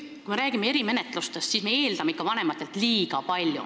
Kui me räägime erimenetlustest, siis me eeldame ikka vanematelt liiga palju.